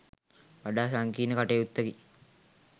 වඩා සංකීර්ණ කටයුත්තකි.